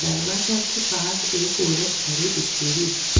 दरवाजा के पास एक औरत खड़ी दिखेरी।